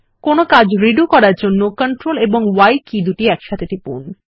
কোনো কর্ম রিডু করার জন্য CTRL এবং Y কী একসঙ্গে টিপুন